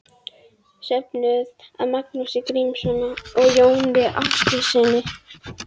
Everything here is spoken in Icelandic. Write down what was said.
Söfnuð af Magnúsi Grímssyni og Jóni Árnasyni.